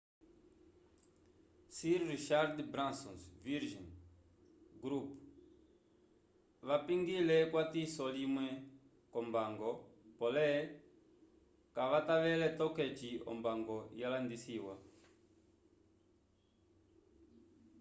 sir richard branson's virgin group vapingile ekwatiso limwe k'ombango pole kavatavele toke eci ombango yalandisiwa